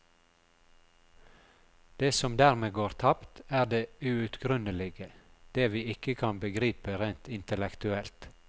Det som dermed går tapt, er det uutgrunnelige, det vi ikke kan begripe rent intellektuelt.